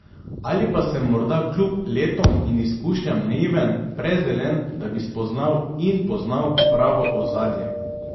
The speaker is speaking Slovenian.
Ali pa sem morda kljub letom in izkušnjam naiven, prezelen, da bi spoznal in poznal pravo ozadje.